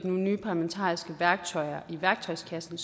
nogle nye parlamentariske værktøjer i værktøjskassen